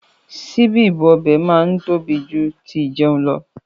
Síbí ibú ọbẹ̀ máa ń tóbi jù tí ìjẹun lọ.